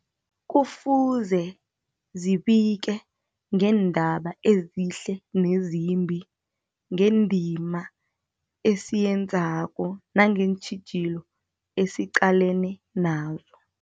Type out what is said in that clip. Kufuze zibike ngeendaba ezihle nezimbi, ngendima esiyenzako nangeentjhijilo esiqalene nazo.